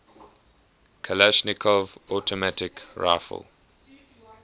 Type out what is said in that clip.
kalashnikov automatic rifle